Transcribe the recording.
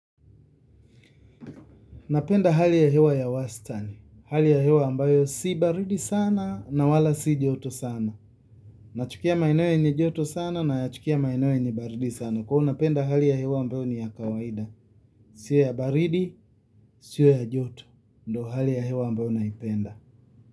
Napenda hali ya hewa ya wastani. Hali ya hewa ambayo si baridi sana na wala si joto sana. Nachukia maeneo yenye joto sana nayachukia maeneo yenye baridi sana. Kwa napenda hali ya hewa ambayo ni ya kawaida. Sio ya baridi, sio ya joto. Ndo hali ya hewa ambayo naipenda.